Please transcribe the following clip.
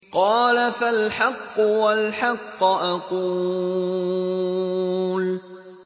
قَالَ فَالْحَقُّ وَالْحَقَّ أَقُولُ